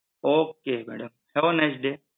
Okay madam, have a nice day!